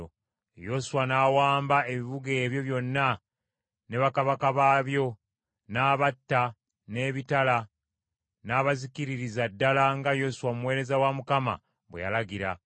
Yoswa n’awamba ebibuga ebyo byonna ne bakabaka baabyo, n’abatta n’ebitala n’abazikiririza ddala nga Musa omuweereza wa Mukama bwe yalagira.